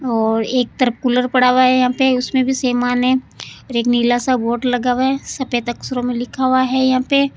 और एक तरफ कुलर पड़ा हुआ है यहां पर उसमें भी समान है एक नीला सा बोर्ड लगावे सफेद अक्षरों में लिखा हुआ है यहा पे --